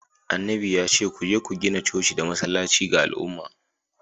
annabin ya ce ku je ku gina coci da masallaci ga al’umma.